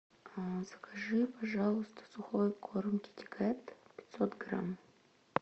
закажи пожалуйста сухой корм китикет пятьсот грамм